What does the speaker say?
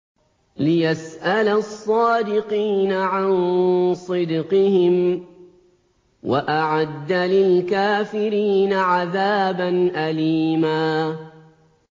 لِّيَسْأَلَ الصَّادِقِينَ عَن صِدْقِهِمْ ۚ وَأَعَدَّ لِلْكَافِرِينَ عَذَابًا أَلِيمًا